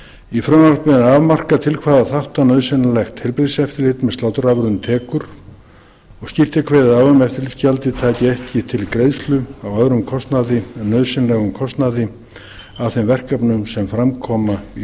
í frumvarpinu er afmarkað til hvaða þátta nauðsynlegt heilbrigðiseftirlit tekur og skýrt er kveðið á um að eftirlitsgjaldið taki ekki til greiðslu á öðrum kostnaði en nauðsynlegum kostnaði af þeim verkefnum sem fram koma í